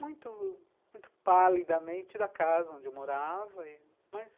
Muito, muito palidamente da casa onde eu morava e, mas